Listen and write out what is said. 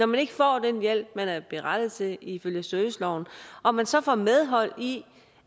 man ikke får den hjælp man er berettiget til ifølge serviceloven og man så får medhold i